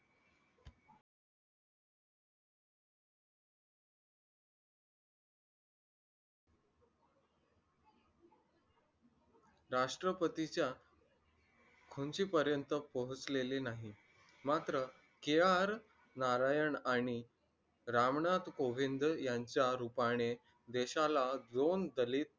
राष्ट्रपतीच्या खुर्ची पर्यंत पोहोचलेले नाही मात्र नारायण आणि रामनाथ गोविंद यांच्या रूपाने देशाला दोन दलित